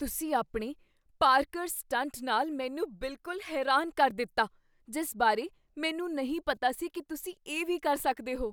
ਤੁਸੀਂ ਆਪਣੇ parkour stunt ਨਾਲ ਮੈਨੂੰ ਬਿਲਕੁਲ ਹੈਰਾਨ ਕਰ ਦਿੱਤਾ ਜਿਸ ਬਾਰੇ ਮੈਨੂੰ ਨਹੀਂ ਪਤਾ ਸੀ ਕੀ ਤੁਸੀਂ ਇਹ ਵੀ ਕਰ ਸਕਦੇ ਹੋ।